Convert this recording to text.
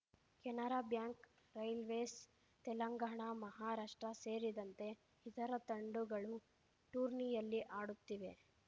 Canara Bank Railways Telangana Maharashtra ಸೇರಿದಂತೆ ಇತರ ತಂಡುಗಳು ಟೂರ್ನಿಯಲ್ಲಿ ಆಡುತ್ತಿವೆ